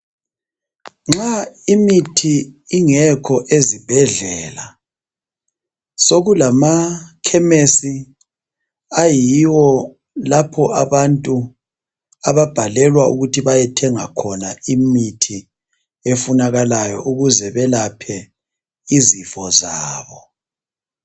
Nxa imithi ingekho ezibhedlela , sekulama khemisi ayiwo lapho abantu ababhalelwa ukuthi bayethenga khona imithi efunakalayo ukuze belaphe izifo zabo .